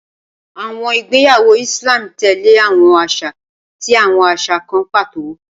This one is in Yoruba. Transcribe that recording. Awọn igbeyawo Islam tẹle awọn aṣa ati awọn aṣa kan pato.